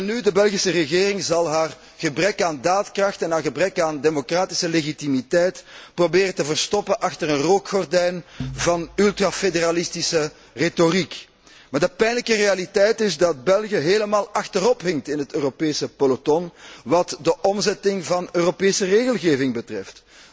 Welnu, de Belgische regering zal haar gebrek aan daadkracht en haar gebrek aan democratische legitimiteit proberen te verstoppen achter een rookgordijn van ultrafederalistische retoriek. Maar de pijnlijke realiteit is dat België helemaal achterop hinkt in het Europese peloton wat de omzetting van Europese regelgeving betreft.